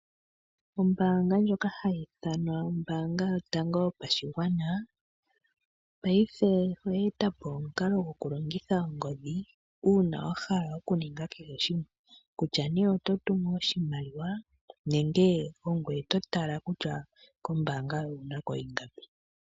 Ombanga ndjoka hayi ithanwa ombanga yotango yopashigwana paife oye etapo omukalo gwoku longitha ongodhi una wahala oku ninga kehe shimwe kutya nee oto tumu oshimaliwa nenge ogweye totala kutya kombanga yoye owunako ingapi.